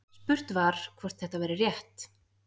Spurt var, hvort þetta væri rétt?